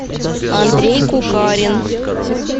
андрей кукарин